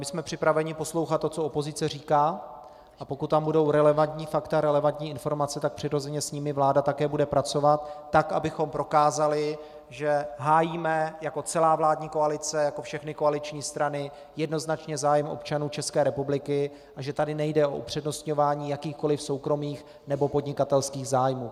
My jsme připraveni poslouchat to, co opozice říká, a pokud tam budou relevantní fakta, relevantní informace, tak přirozeně s nimi vláda také bude pracovat tak, abychom prokázali, že hájíme jako celá vládní koalice, jako všechny koaliční strany, jednoznačně zájem občanů České republiky a že tady nejde o upřednostňování jakýchkoli soukromých nebo podnikatelských zájmů.